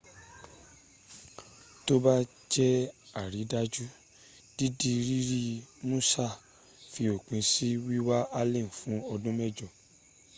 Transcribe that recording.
tó bá jẹ àrídájú dídi rírí musassh fi òpin sí wíwá allen fún ọdún mẹ́jọ